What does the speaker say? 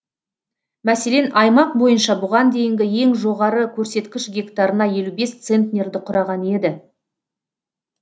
мәселен аймақ бойынша бұған дейінгі ең жоғары көрсеткіш гектарына елу бес центнерді құраған еді